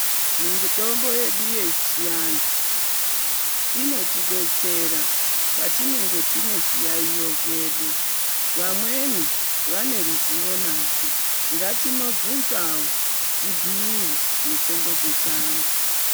Mitombo yedu yechiantu inotidetsera patinenge tine zviyaiyo zvedu vamweni vane ruzivo nazvo ngatinobvunzawo tibhiirwe mitombo dzechiantu.